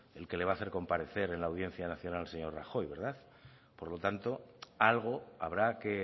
el que le va a hacer comparecer en la audiencia nacional al señor rajoy verdad por lo tanto algo habrá que